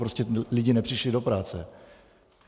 Prostě lidi nepřišli do práce.